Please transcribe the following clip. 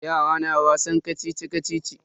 Yara na wasan kacici-kacici.